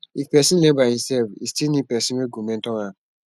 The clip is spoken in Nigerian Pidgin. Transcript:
if persin learn by himself e still need persin wey go mentor am